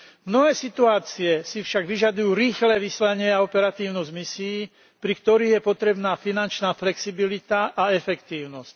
Mnohé situácie si však vyžadujú rýchle vyslanie a operatívnosť misií, pri ktorých je potrebná finančná flexibilita a efektívnosť.